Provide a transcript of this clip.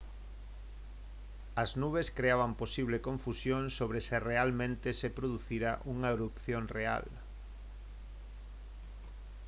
as nubes creaban posible confusión sobre se realmente se producira unha erupción real